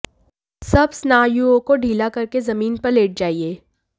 सब स्नायुओं को ढीला करके जमीन पर लेट जाइए